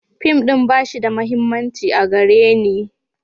Fim ɗin ba shi da mahimmanci a gare ni.